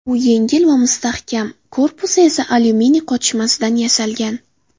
U yengil va mustahkam, korpusi esa alyuminiy qotishmasidan yasalgan.